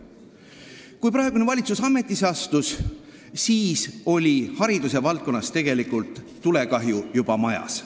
Kui praegune valitsus ametisse astus, siis oli haridusvaldkonnas tulekahju juba majas.